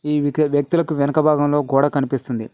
ఈ వ్యక్తులకు వెనక భాగంలో గోడ కనిపిస్తుంది.